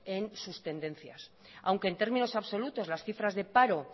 en sus tendencias aunque en términos absolutos las cifras de paro